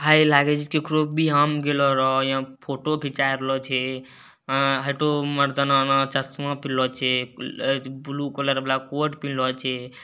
इहाँ फोटो खिंचा रहलो छै हई तो मर्दाना चश्मा पेहनलो छै ब्लू कलर वाला कोट पहनलो छै।